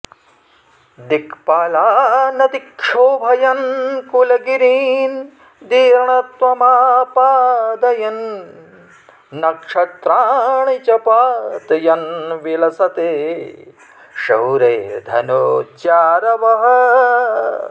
दिक्पालानतिक्षोभयन् कुलगिरीन् दीर्णत्वमापादयन् नक्षत्राणि च पातयन् विलसते शौरेर्धनुज्यारवः